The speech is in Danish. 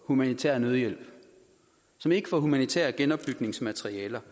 humanitær nødhjælp som ikke får humanitær genopbygningsmaterialer